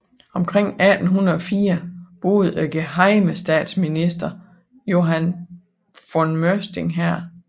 Omkring 1804 boede gehejmestatsminister Johan von Møsting her